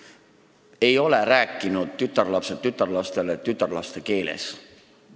Tütarlapsed ei ole rääkinud tütarlastele tütarlaste keeles.